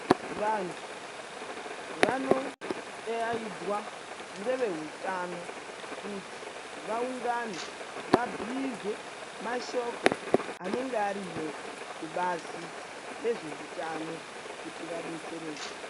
Vantu vanodaidzwa ngevehutano kuti vawungane vabhiirwe mashoko anenge ariyo kubazi rezveutano kuti vadetsereke.